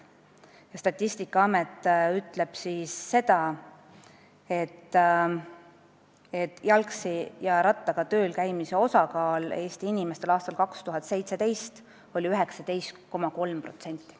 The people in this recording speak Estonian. Ja Statistikaamet ütleb seda, et Eesti inimeste puhul oli aastal 2017 jalgsi ja rattaga tööl käimise osakaal 19,3%.